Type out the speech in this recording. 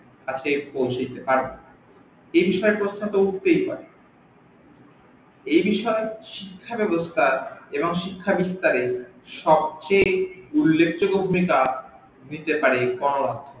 হাতে পৌছেছে তার এই বিষয়ে প্রশ্ন তো উঠতে পারে এই বিষয়ে শিক্ষা ব্যাবস্থা এবং শিক্ষা বিস্তারে সবচেয়ে উল্লেখ যোগ্য ভুমিকা নিতে পারে গণমাধ্যম